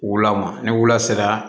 Wula ma ni wula sera